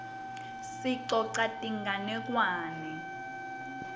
sicosa tinganekwane